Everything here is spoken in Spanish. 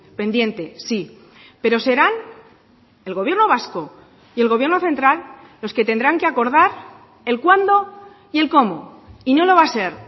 pendiente sí pero serán el gobierno vasco y el gobierno central los que tendrán que acordar el cuándo y el cómo y no lo va a ser